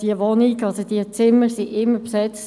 Die Zimmer waren immer besetzt.